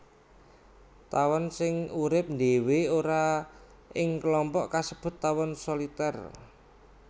Tawon sing urip ndhéwé ora ing klompok kasebut tawon solitèr